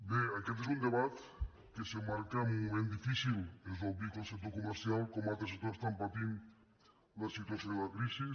bé aquest és un debat que s’emmarca en un moment difícil és obvi que el sector comercial com altres sectors està patint la situació de la crisi